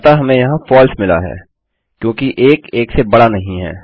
अतः हमें यहाँ फलसे मिला है क्योंकि 1 1 से बड़ा नहीं है